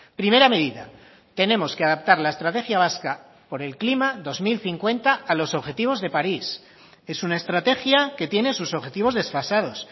primera medida tenemos que adaptar la estrategia vasca por el clima dos mil cincuenta a los objetivos de paris es una estrategia que tiene sus objetivos desfasados